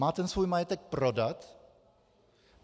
Má ten svůj majetek prodat?